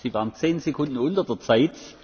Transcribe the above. Sie waren zehn Sekunden unter der Zeit.